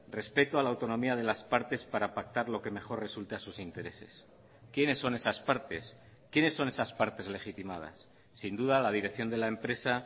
respeto a la autonomía de las partes para pactar lo que mejor resulte a sus intereses quiénes son esas partes quiénes son esas partes legitimadas sin duda la dirección de la empresa